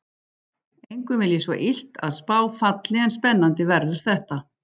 Engum vil ég svo illt að spá falli en spennandi verður þetta.